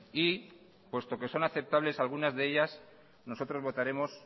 y puesto que son aceptables algunas de ellas nosotros votaremos